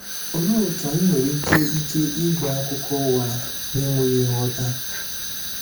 Òlee otú anyị nwere ike ike ịgba akụkọ ụgha na-enweghị nghọta?